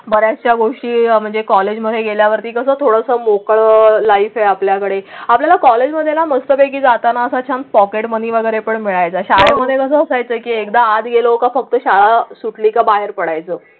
बऱ्याचशा गोष्टी ह्या म्हणजे कॉलेजमध्ये गेल्यावर ती कसं थोडं मोकळं लाइफ आहे. आपल्याकडे आपल्या कॉलेजमध्येला मस्तपैकी जाताना त्याचं पॉकेटमनी वगैरे पण मिळेल असं होतं की एकदा आत गेलो फक्त शाळा सुटली की बाहेर पडायचं.